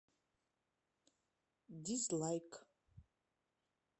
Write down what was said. дизлайк